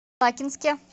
лакинске